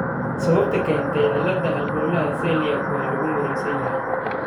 Sababta keenta cilladda halbowlaha celiac waa lagu muransan yahay.